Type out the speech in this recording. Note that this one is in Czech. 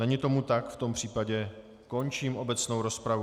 Není tomu tak, v tom případě končím obecnou rozpravu.